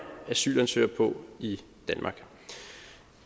asylansøgere på i danmark